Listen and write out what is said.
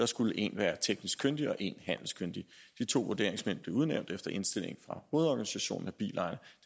skulle en være teknisk kyndig og en være handelskyndig de to vurderingsmænd blev udnævnt efter indstilling fra hovedorganisationen af bilejere